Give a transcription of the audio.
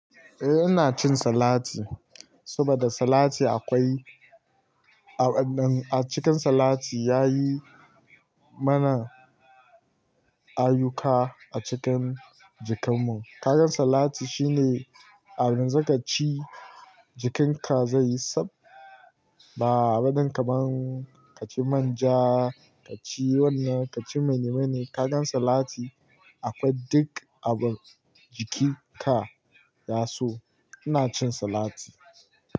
Eh ina cin salati, saboda salati akwai a waɗannan a cikin salati ya yi mana ayyuka a cikin jikinmu. Kagan salati shine ayanzu ka ci jikinka zai yi tsab. Ba abin kamar ka ci manja, ka ci wannan, ka ci mene mene. Kagan salati akwai duk abin jikinka ya so. Ina cin salati.